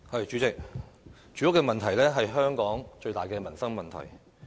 主席，住屋問題是香港最大的民生問題。